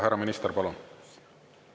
Härra minister, palun!